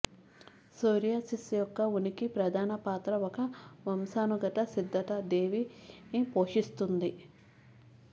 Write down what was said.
psoriasis యొక్క ఉనికి ప్రధాన పాత్ర ఒక వంశానుగత సిద్ధత దేవిని పోషిస్తుంది